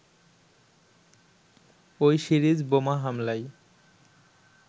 ওই সিরিজ বোমা হামলায়